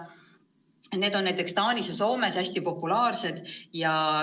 Selline õppevorm on näiteks Taanis ja Soomes hästi populaarne.